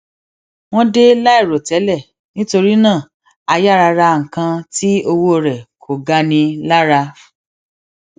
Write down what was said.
wón dé láìròtélè nítorí náà a yára ra nǹkan tí owó rẹ kò gani lára